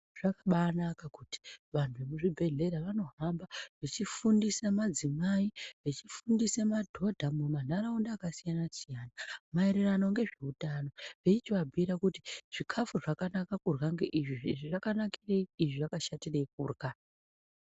Zvakabaanaka kuti vantu mezvibhehlera vanohamba vechifundise madzimai. Vechifundise madhodha mumanharaunda akasiyana-siyana maererano ngezveutano Veichivabhuira kuti zvikafu zvakanaka kurya ngeizvi. izvi zvakanakirei, izvi zvakashatirwi kurya.